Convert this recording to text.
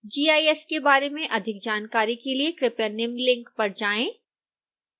gis के बारे में अधिक जानकारी के लिए कृपया निम्न लिंक पर जाएं